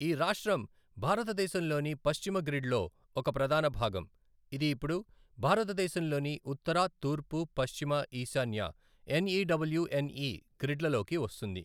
ఈ రాష్ట్రం భారతదేశంలోని పశ్చిమ గ్రిడ్ లో ఒక ప్రధాన భాగం, ఇది ఇప్పుడు భారతదేశంలోని ఉత్తర, తూర్పు, పశ్చిమ, ఈశాన్య, ఎన్ఈడబ్లుఎన్ఈ గ్రిడ్ల లోకి వస్తుంది.